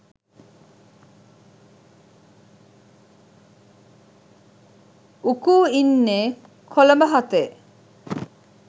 උකූ ඉන්නේ කොළඹ හතේ